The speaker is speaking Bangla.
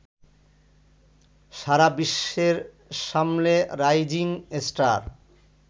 সারা বিশ্বের সামনে রাইজিং স্টার